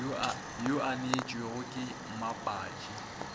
yo a neetšwego ke mmapatši